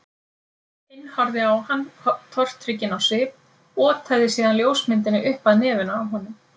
Hinn horfði á hann tortrygginn á svip, otaði síðan ljósmyndinni upp að nefinu á honum.